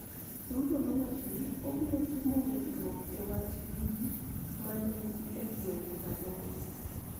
Ruto nowacho ni obiro timo winjruok e wach gi ji ma ne ni e gwenge aboro